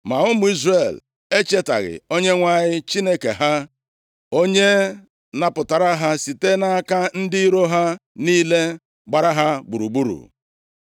Ma ụmụ Izrel echetaghị Onyenwe anyị Chineke ha, onye napụtara ha site nʼaka ndị iro ha niile gbara ha gburugburu.